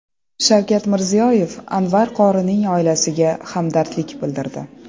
Shavkat Mirziyoyev Anvar qorining oilasiga hamdardlik bildirdi.